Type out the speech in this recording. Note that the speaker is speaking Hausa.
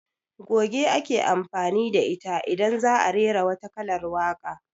Goge ake amfani da ita idan za'a rera wata kalar waka